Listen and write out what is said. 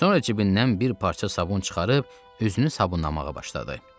Sonra cibindən bir parça sabun çıxarıb üzünü sabunlamağa başladı.